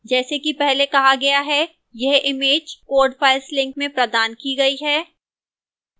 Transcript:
जैसा कि पहले कहा गया है यह image code files link में प्रदान की गई है